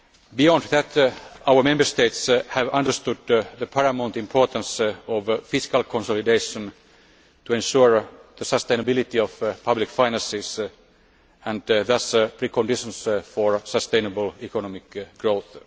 Beyond that, our Member States have understood the paramount importance of fiscal consolidation to ensure the sustainability of public finances and thus, preconditions for sustainable economic growth.